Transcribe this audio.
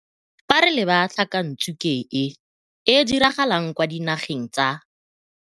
Fa re leba tlhakantsuke e e diragalang kwa Dinageng tsa